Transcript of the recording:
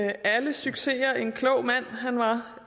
alle succeser en klog mand han var